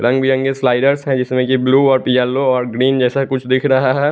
रंग बिरंगे स्लाइड्स है इसमें यह ब्लू और येलो और ग्रीन जैसा कुछ दिख रहा है।